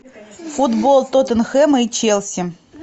футбол тоттенхэм и челси